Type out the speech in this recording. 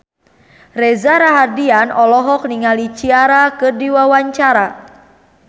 Reza Rahardian olohok ningali Ciara keur diwawancara